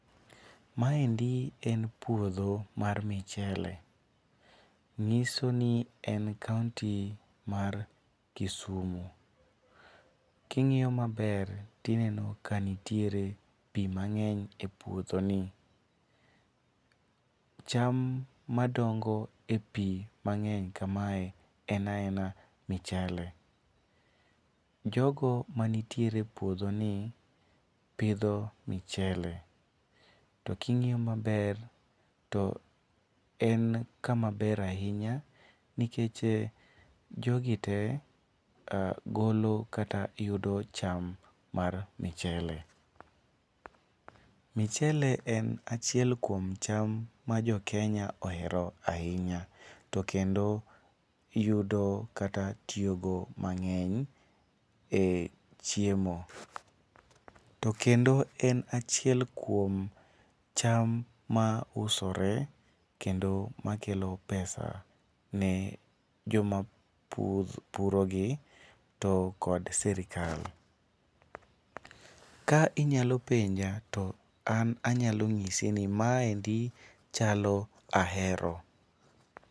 Maendi en puodho mar michele. Ng'iso ni en kaonti mar Kisumu. King'iyo maber tineno ka nitiere pi mang'eny e puodhoni. Cham madongo e pi mange'ny kamae ena ena michele. Jogo manitiere puodhoni pidho michele, to king'iyo maber to en kamaber ahinya nikech jogi te golo kata yudo cham mar michele. Michele en achiel kuom cham ma jokenya ohero ahinya to kendo yudo kata tiyogo mang'eny e chiemo. To kendo en achiel kuom cham ma usore kendo ma kelo pesa ne joma pur purogi to kod sirikal. Ka inyalo penja to an anyalo nyisi ni maendi chalo Ahero.